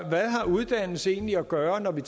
uddannelse egentlig at gøre med